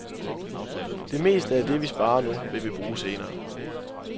Det meste af det, vi sparer nu, vil vi bruge senere.